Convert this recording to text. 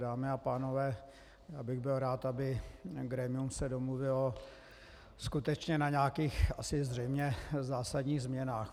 Dámy a pánové, já bych byl rád, aby se grémium domluvilo skutečně na nějakých asi zřejmě zásadních změnách.